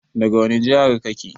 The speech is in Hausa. Daga wani jihar kake?